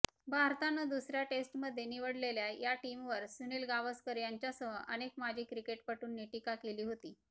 भारतानं दुसऱ्या टेस्टमध्ये निवडलेल्या या टीमवर सुनील गावसकर यांच्यासह अनेक माजी क्रिकेटपटूंनी टीका केली होती